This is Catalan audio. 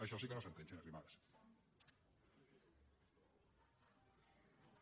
això sí que no s’entén senyora arrimadas